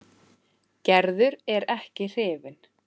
Gerður er ekki hrifin.